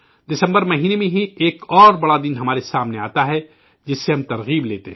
دسمبر مہینے میں ہی ایک اور بڑا دن ہمار سامنے آتا ہے جس سے ہم ترغیب حاصل کرتے ہیں